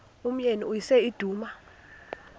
umyeni uyise iduna